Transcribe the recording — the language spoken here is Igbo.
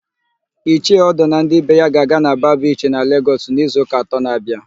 Ichie Odo na ndị be ya ga-aga na Ba Bichi dị na Legọs n'izuụka atọ na-abịa.